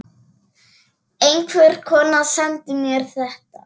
Einhver kona sendi mér þetta.